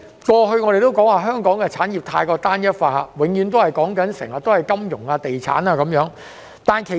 過去我們都說香港的產業過於單一化，永遠只談金融及地產。